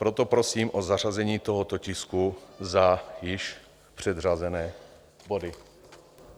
Proto prosím o zařazení tohoto tisku za již předřazené body.